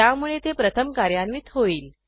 त्यामुळे ते प्रथम कार्यान्वित होईल